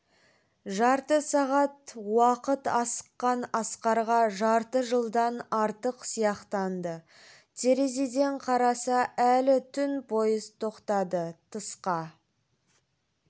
жарты сағат уақыт асыққан асқарға жарты жылдан артық сияқтанды терезеден қараса әлі түн поезд тоқтады тысқа